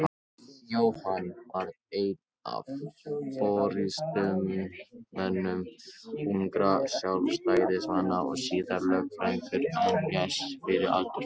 Jóhann varð einn af forystumönnum ungra Sjálfstæðismanna og síðar lögfræðingur en lést fyrir aldur fram.